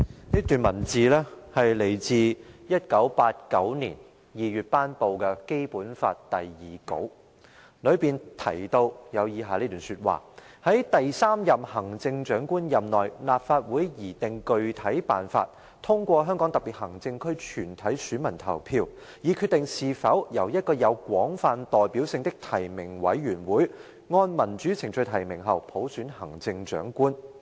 這段文字來自1989年2月頒布的《基本法》第二稿，當中提到以下這段話，"在第三任行政長官任內，立法會擬定具體辦法，通過香港特別行政區全體選民投票，以決定是否由一個有廣泛代表性的提名委員會按民主程序提名後，普選產生行政長官......